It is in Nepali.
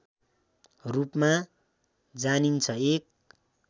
रूपमा जानिन्छ एक